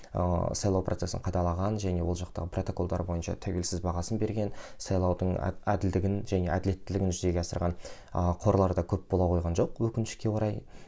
ыыы сайлау процесін қадағалаған және ол жақтағы протоколдар бойынша тәуілсіз бағасын берген сайлаудың әділдігін және әділеттілігін жүзеге асырған ы қорлар да көп бола қойған жоқ өкінішке орай